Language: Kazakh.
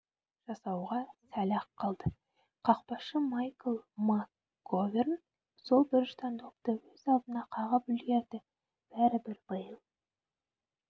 жасауға сәл-ақ қалды қақпашы майкл макговерн сол бұрыштан допты өз алдына қағып үлгерді бәрібір бейл